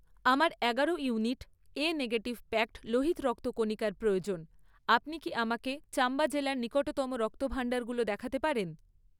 আমার এগারো unit A negative packed লোহিত রক্ত ​​কণিকার প্রয়োজন, আপনি কি আমাকে চাম্বা জেলার নিকটতম রক্তভাণ্ডারগুলো দেখাতে পারেন?